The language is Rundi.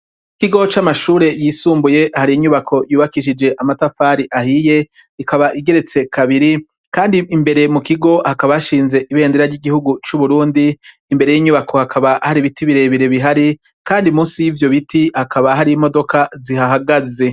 Ikigo c'amashuri yisumbuye hari inyubako yubakishije amatafari ahiye ikaba igeretse kabiri kandi imbere mu kigo hakaba hashinze ibendera ry'igihugu cu Burundi imbere y'inyubako hakaba hari ibiti birebire bihari kandi munsi yivyo biti hakaba hari imodoka zihahagaze.